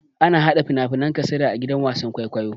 Ana hada fina-finan kasada a gidan wasan kwaikwayo.